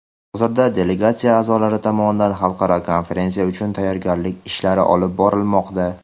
Hozirda delegatsiya a’zolari tomonidan xalqaro konferensiya uchun tayyorgarlik ishlari olib borilmoqda.